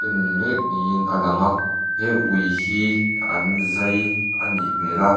en mêk niin a lang a he ui hi an zai a nih hmêl a.